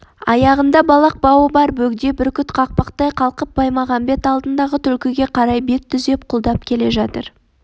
аяғында балақ бауы бар бөгде бүркіт қақпақтай қалқып баймағамбет алдындағы түлкіге қарай бет түзеп құлдап келе жатыр